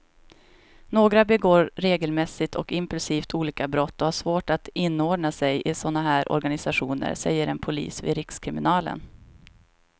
Några begår regelmässigt och impulsivt olika brott och har svårt att inordna sig i såna här organisationer, säger en polis vid rikskriminalen.